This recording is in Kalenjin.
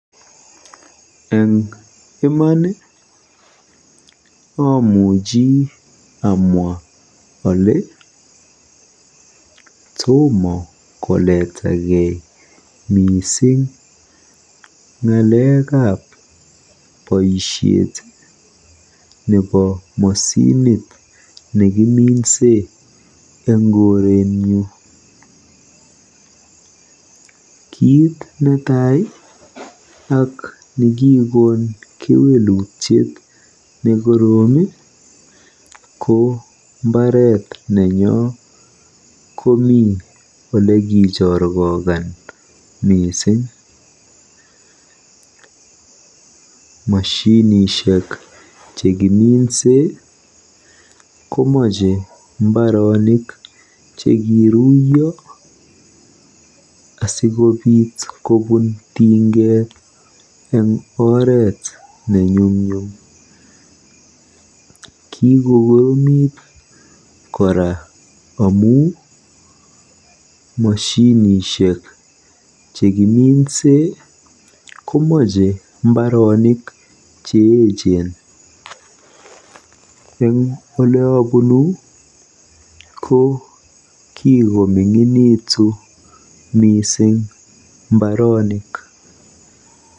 Eng iman amuchi amwa kolee tom koletakei ng'alekab boisiet ab moshinit nekiminse eng korenyu. Kiit netai ak nekikokon kewelutiet neoo ko mbaretnyo komi olikichorkokan mising. Moshinishek chekiminse komache mbaronik chekiruiyo asikobiit kobun tinget eng oret nenyumnyum. Kikokoromit kora amu moshinishek chekiminse komache mbaronik cheechen. Eng oleobunu ko kikomiing'initu mising mbarenik.